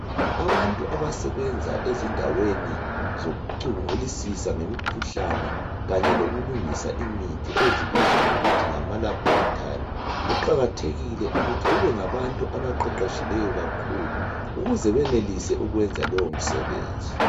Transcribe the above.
Abantu abasebenza ezindaweni zokucubungulisisa ngemikhuhlane kanye lokulungisa imithi ezibizwa ngokuthi ngama laboratory kuqakathekile ukuthi bebengabantu abaqeqetshileyo ukuze benelise ukwenza lowo msebenzi.